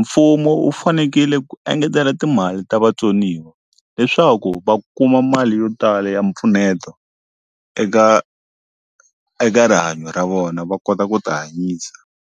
mfumo wu fanekele ku engetela timali ta vatsoniwa leswaku va kuma mali yo tala ya mpfuneto eka eka rihanyo ra vona va kota ku ti hanyisa.